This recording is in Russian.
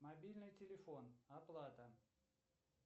мобильный телефон оплата